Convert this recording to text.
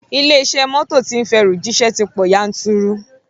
Ilé iṣẹ́ mọ́tò tí ń fẹrù jíṣẹ́ ti pọ̀ yanturu